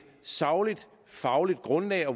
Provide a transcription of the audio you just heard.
sagligt og fagligt grundlag